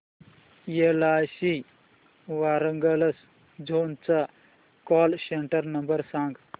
LIC Warangal zone चा call centre number सांग